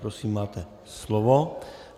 Prosím, máte slovo.